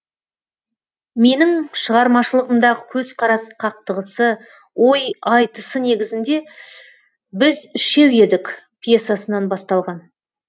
менің шығармашылығымдағы көзқарас қақтығысы ой айтысы негізінде біз үшеу едік пьесасынан басталған